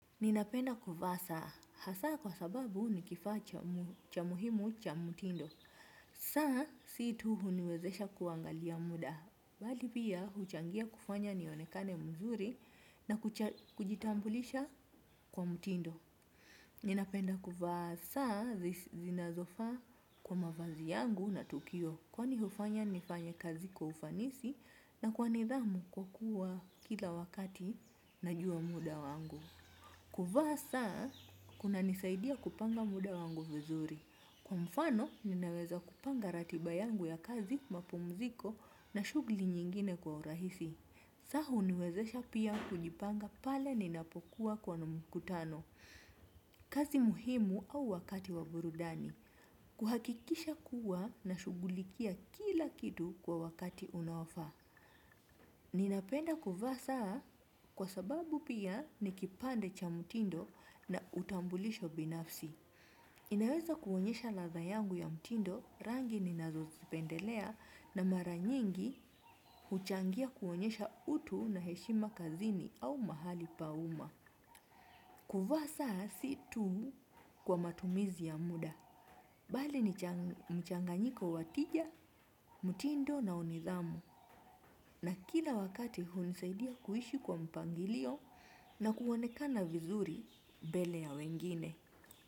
Ninapenda kuvaa saa, hasa kwa sababu ni kifaa cha muhimu cha mtindo. Saa, si tu huniwezesha kuangalia muda. Bali pia, huchangia kufanya nionekane mzuri na kujitambulisha kwa mtindo. Ninapenda kuvaa saa zinazofaa kwa mavazi yangu na tukio. Kwani hufanya, nifanye kazi kwa ufanisi na kwa nidhamu kwa kuwa kila wakati najua muda wangu. Kuvaa saa, kunanisaidia kupanga muda wangu vizuri. Kwa mfano, ninaweza kupanga ratiba yangu ya kazi, mapumziko na shughuli nyingine kwa urahisi. Saa huniwezesha pia kujipanga pale ninapokuwa kwenye mkutano, kazi muhimu au wakati wa burudani. Kuhakikisha kuwa nashughulikia kila kitu kwa wakati unaofaa. Ninapenda kuvaa saa kwa sababu pia ni kipande cha mtindo na utambulisho binafsi. Ninaweza kuonyesha ladha yangu ya mtindo, rangi ninazozipendelea na mara nyingi huchangia kuonyesha utu na heshima kazini au mahali pa umma. Kuvaa saa si tu kwa matumizi ya muda. Bali ni mchanganyiko wa tija, mtindo na wa nidhamu na kila wakati hunisaidia kuishi kwa mpangilio na kuonekana vizuri mbele ya wengine.